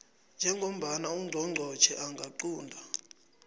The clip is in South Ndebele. njengombana ungqongqotjhe angaqunta